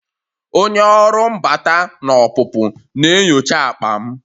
Onye ọrụ mbata na ọpụpụ na-enyocha akpa m